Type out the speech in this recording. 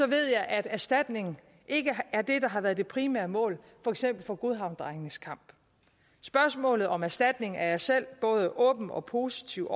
ved jeg at erstatning ikke er det der har været det primære mål for eksempel for godhavnsdrengenes kamp spørgsmålet om erstatning er jeg selv både åben og positiv